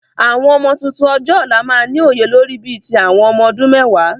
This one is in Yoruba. Àwọn ọmọ tuntun ọjọ́ ọ̀la máa ni òye lórí bí ti ọmọ ọdún mẹ́wàá